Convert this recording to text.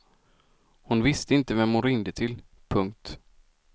Hon visste inte vem hon ringde till. punkt